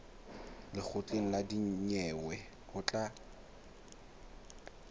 lekgotleng la dinyewe ho tla